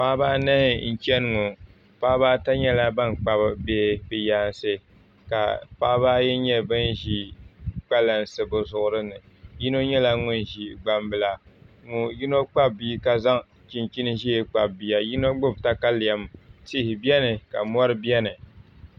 Paɣaba anahi n chɛni ŋɔ paɣaba ata nyɛla ban kpabi bihi bi yaansi ka paɣaba ayi nyɛ bin ʒi kpalansi bi zuɣuri ni yino nyɛla ŋun ʒi gbambila yino kpabi bia ka zaŋ chinchin ʒiɛ kpabi bia yino gbubi katalɛm tia biɛni ka mori biɛni